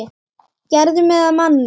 Gerðir mig að manni.